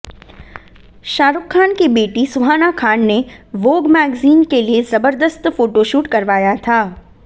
शाहरुख़ खान की बेटी सुहाना खान ने वोग मैगज़ीन के लिए जबरदस्त फोटोशूट करवाया था